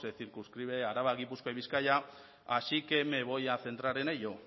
circunscribe araba gipuzkoa y bizkaia así que me voy a centrar en ello